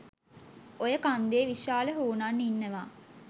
ඔය කන්දේ විශාල හුනන් ඉන්නවා